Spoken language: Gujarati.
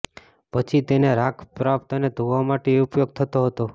પછી તેને રાખ પ્રાપ્ત અને ધોવા માટે ઉપયોગ થતો હતો